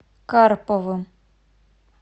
карповым